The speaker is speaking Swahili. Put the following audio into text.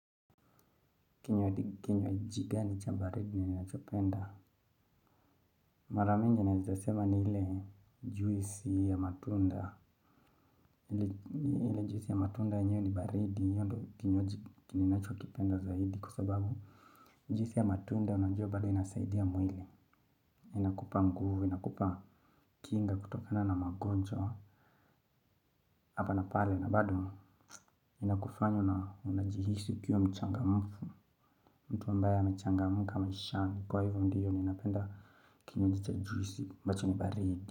Kinywaji gani cha baridi ninachopenda. Mara mingi naeza sema ni ile juisi ya matunda ile juisi ya matunda yenye ni baridi hiyo ndo kinywaji ninachopekinda zaidi kwa sababu juisi ya matunda unajua bado inasaidia mwili. Inakupa nguvu inakupa kinga kutokana na magonjwa. Hapa na pale na bado inakufanya unajihisi ukiwa mchangamfu. Mtu ambaye amechangamka maishani kwa hivyo ndiyo ninapenda kinywaji cha juisi ambacho ni baridi.